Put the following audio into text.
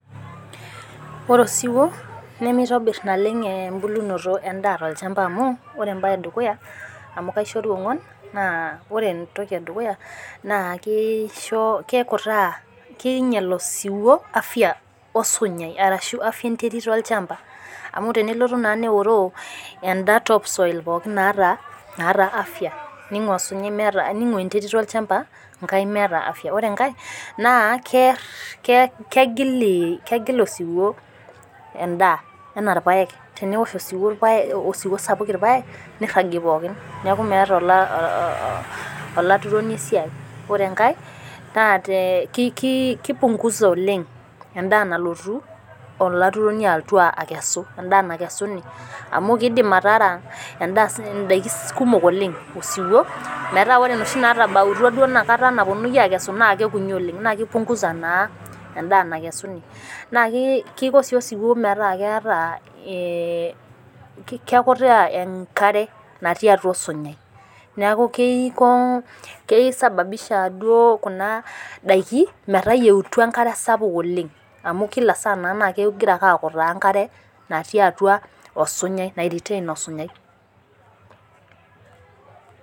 Ore osiwuo. nimitobir naleng ebulunoto edaa tololchampa amu, ore ebae, edukuya amu kaishoru onguan. ore entoki edukuya, naa ore entoki edukuya kekutaa .keingial osiwuo afia enterit olchampa .amu tenelotu naa neoroo eda topsoil Pookin naata afia. ningua enterit olchampa meeta afia. ore enkae. naa keer. kegil osiwuo edaa anaa irpaek airajie pookin. neeku meeta olaturoni esiai. ore enkae. kipungusa oleng, edaa nalotu olaturoni alotu aikesu. edaa, naikesuni. amu kidim atara. edaa sii ninye. idaikin kumok oleng osiwuo. metaa ore inoshi naatabautua kukuni oleng Kekutaa sii osiwuo enkare natii atua osinyai. neeku kisababisha duo Kuna daikin metayieita enkare sapuk oleng